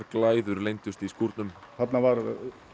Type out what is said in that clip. glæður leyndust ekki í skúrnum þarna var